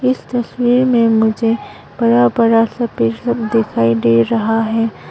इस तस्वीर में मुझे बरा बरा सफेद सब दिखाई दे रहा है।